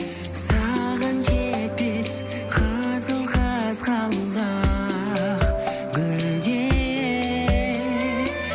саған жетпес қызыл қызғалдақ гүлдер